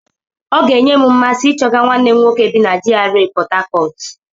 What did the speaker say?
Ọ ga-enye m mmasị ichọga nwanne m nwoke bi na GRA Pọt Hacọt.